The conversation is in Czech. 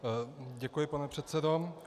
Děkuji, pane předsedo.